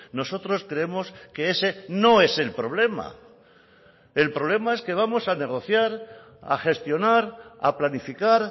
nosotros creemos que ese no es el problema el problema es que vamos a negociar a gestionar a planificar